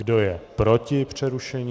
Kdo je proti přerušení?